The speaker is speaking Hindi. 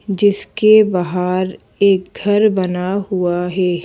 जिसके बाहर एक घर बना हुआ है।